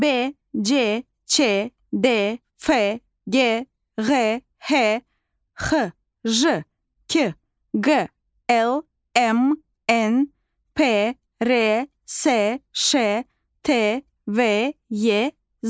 B, C, Ç, D, F, G, Ğ, H, X, J, K, Q, L, M, N, P, R, S, Ş, T, V, Y, Z.